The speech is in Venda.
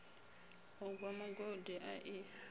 u gwa mugodi a i